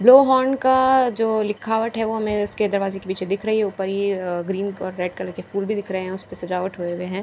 blow horn का जो लिखावट है वो हमें उसके दरवाजे के पीछे दिख रही है ऊपर ये अ ग्रीन और रेड कलर के फूल भी उसपे सजावट हुए हुए है और --